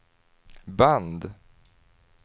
band